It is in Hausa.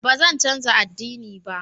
Ba zan canza ad'dini ba.